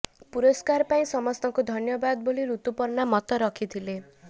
ପୁରସ୍କାର ପାଇଁ ସମସ୍ତଙ୍କୁ ଧନ୍ୟବାଦ ବୋଲି ଋତୁପର୍ଣ୍ଣା ମତ ରଖିଥିଲେ